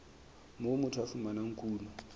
moo motho a fumanang kuno